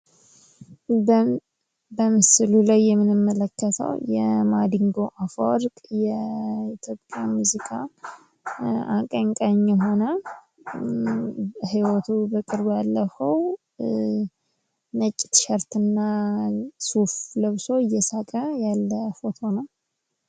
በምስሉ ላይ የምንመለከተው የማድንጎ አፈወርቅ የኢትዮጵያ ሙዚቃ አቀንቃኝ የሆነ ህይወቱን በቅርቡ ያለፈው ነጭ ቲሸርት እና ሱፍ ለብሶ እየሳቀ ያለ ፎቶ ነው::